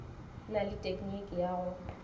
na le tekniki ya go